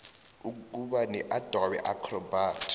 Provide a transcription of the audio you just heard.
ukuba neadobe acrobat